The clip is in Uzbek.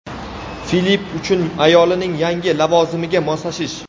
Filipp uchun ayolining yangi lavozimiga moslashish….